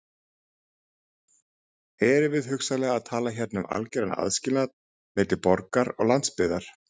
Erum við hugsanlega að tala hérna um algeran aðskilnað milli borgar og landsbyggðar?